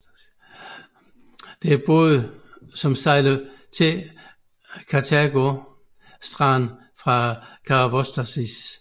Der er både som sejler til Katergo stranden fra Karavostasis